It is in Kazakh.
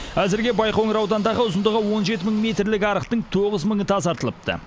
әзірге байқоңыр ауданындағы ұзындығы он жеті мың метрлік арықтың тоғыз мыңы тазартылыпты